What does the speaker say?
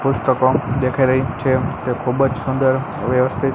પુસ્તકો દેખાય રહી છે તે ખૂબજ સુંદર વ્યવસ્થિત--